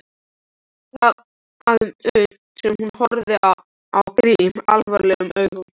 Þagði um stund en horfði svo á Grím alvarlegum augum.